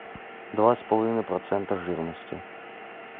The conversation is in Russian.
два с половиной процента жирности